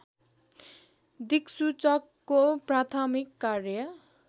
दिक्सूचकको प्राथमिक कार्य